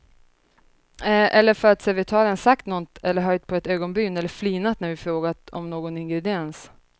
Eller för att servitören sagt något eller höjt på ett ögonbryn eller flinat när vi frågat om någon ingrediens.